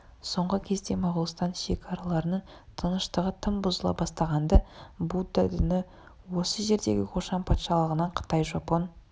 соңғы кезде моғолстан шекараларының тыныштығы тым бұзыла бастаған-ды будда діні осы жердегі қошан патшалығынан қытай жапон